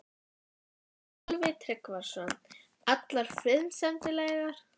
Sölvi Tryggvason: Allar friðsamlegar?